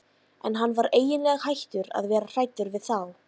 En hann var eiginlega hættur að vera hræddur við þá.